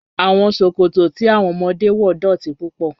Awọn sọkọtọ̀ tí awọn ọmọdé wọ dọ́ti púpọ̀.